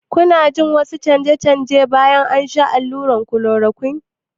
Kuna jin wasu canje-canje bayan shan allurar chloroquine?